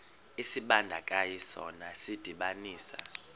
isibandakanyi sona sidibanisa